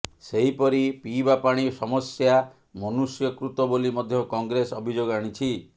ସେହିପରି ପିଇବା ପାଣି ସମସ୍ୟା ମନୁଷ୍ୟକୃତ ବୋଲି ମଧ୍ୟ କଂଗ୍ରେସ ଅଭିଯୋଗ ଆଣିଛି